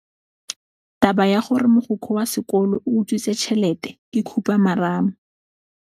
Taba ya gore mogokgo wa sekolo o utswitse tšhelete ke khupamarama.